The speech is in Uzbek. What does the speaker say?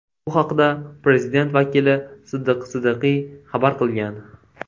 Bu haqda prezident vakili Siddiq Siddiqiy xabar qilgan .